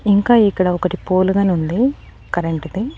ఇంకా ఇక్కడ ఒకటి పోలు గానుంది కరెంటు ది.